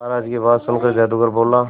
महाराज की बात सुनकर जादूगर बोला